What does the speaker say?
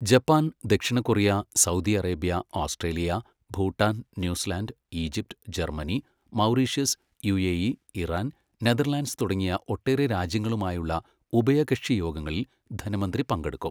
Japan, ദക്ഷിണ Korea, Saudi Arabia, Australia, Bhutan, New Zealand, Egypt, Germany, Mauritius, UAE, Iran, Netherlands തുടങ്ങി ഒട്ടേറെ രാജ്യങ്ങളുമായുള്ള ഉഭയകക്ഷി യോഗങ്ങളിൽ ധനമന്ത്രി പങ്കെടുക്കും.